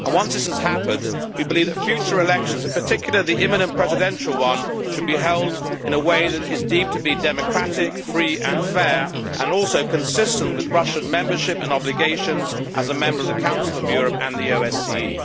Once this has happened, we believe that future elections, in particular the imminent presidential one, should be held in a way that is deemed to be democratic, free and fair and also consistent with Russian membership and obligations as a member of the Council of Europe and the OSCE.